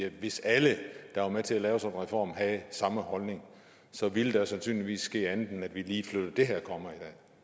hvis alle der var med til at lave reformen havde samme holdning ville der sandsynligvis ske andet end at vi lige flyttede det her komma i